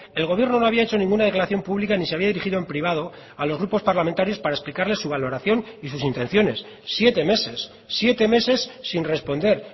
el gobierno no había hecho ninguna declaración pública ni se había dirigido en privado a los grupos parlamentarios para explicarles su valoración y sus intenciones siete meses siete meses sin responder